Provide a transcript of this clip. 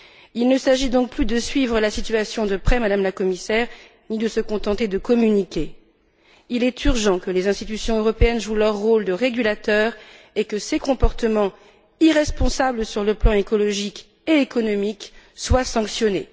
Il ne s'agit donc plus de suivre la situation de près, Madame la Commissaire, ni de se contenter de communiquer. Il est urgent que les institutions européennes jouent leur rôle de régulateur et que ces comportements, irresponsables sur les plans écologique et économique, soient sanctionnés.